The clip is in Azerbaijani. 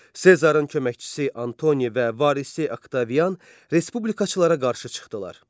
Sezarın köməkçisi Antoni və varisi Oktavian respublikaçılara qarşı çıxdılar.